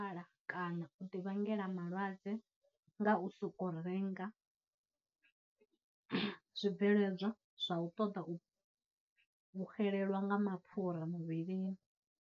Nyala kana u ḓi vhangela malwadze ngau soko renga zwibveledzwa zwa u ṱoḓa u xelelwa nga mapfhura muvhilini.